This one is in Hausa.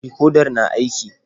Dikodar na aiki?